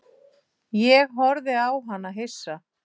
Ég horfði á hana hissa.